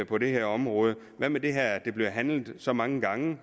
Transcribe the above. på det her område hvad med det her med at det bliver handlet så mange gange